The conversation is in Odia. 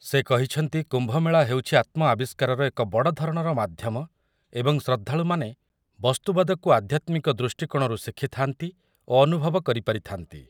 ସେ କହିଛନ୍ତି କୁମ୍ଭମେଳା ହେଉଛି ଆତ୍ମଆବିଷ୍କାର ଏକ ବଡ଼ଧରଣର ମାଧ୍ୟମ ଏବଂ ଶ୍ରଦ୍ଧାଳୁମାନେ ବସ୍ତୁବାଦକୁ ଆଧ୍ୟାତ୍ମିକ ଦୃଷ୍ଟିକୋଣରୁ ଶିଖିବା ଓ ଅନୁଭବ କରିପାରିଥାନ୍ତି ।